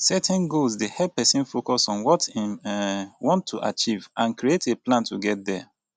setting goals dey help pesin focus on what im um want to achieve and create a plan to get there